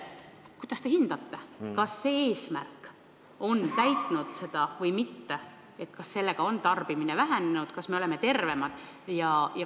Kuidas te hindate, kas see eesmärk on täidetud või mitte, kas tarbimine on vähenenud, kas me oleme tervemad?